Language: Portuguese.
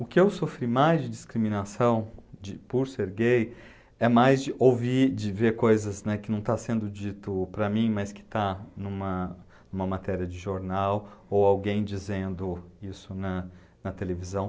O que eu sofri mais de discriminação, de, por ser gay é mais de ouvir, de ver coisas, né, que não está sendo dito para mim, mas que está numa numa matéria de jornal ou alguém dizendo isso na na televisão.